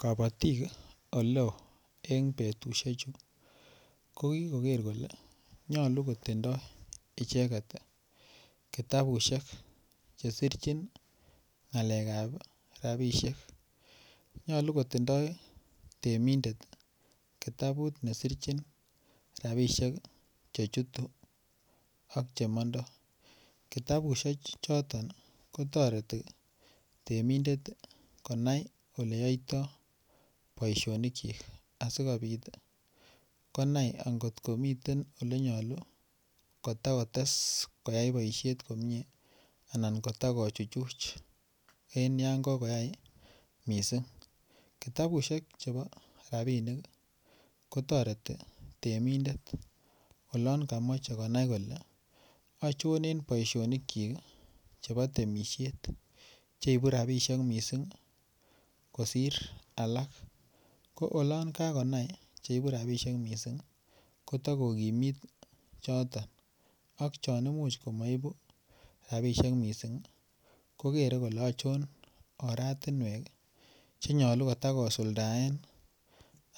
Kabatik oleo kokikoker en betusiechu kokikoker kole nyolu kotindoi icheget kitabusiek Che sirchin ngalekab rabisiek nyolu kotindoi temindet kitabut nesirchin rabisiek Che chutu ak Che mondo kitabusiek choton ko toreti temindet konai Ole yaitoi boisionik asikobit konai angot komiten Ole nyolu kotakotes koyai boisiet komie anan kota kochuchuch en yon kokoyai mising kitabusiek Che rabisiek ko toreti temindet olon komoche konai kole achon en boisionikyik chebo temisiet Che ibu rabisiek mising kosir alak ko oloon kakonai Che ibu rabisiek mising ko tako kokimit choton ak chon Imuch komaibu rabisiek mising kogere kole achon oratinwek Che nyolu kotakusuldaen